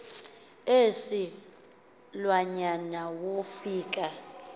isi lwanyana wofika